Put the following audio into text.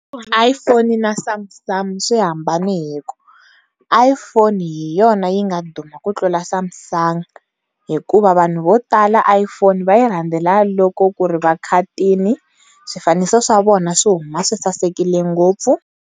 iPhone na Samsung swi hambane hi ku, iPhone hi yona yinga duma ku tlula Samsung hikuva vanhu vo tala iPhone va yi randzela loko ku ri va khatini, swifaniso swa vona swi huma swi sasekile ngopfu.